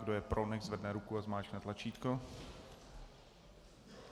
Kdo je pro, nechť zvedne ruku a stiskne tlačítko.